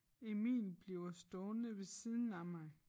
Emil bliver stående ved siden af mig